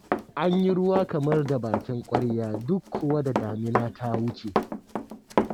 An yi ruwa kamar da bakin ƙwarya duk kuwa da damina ta wuce.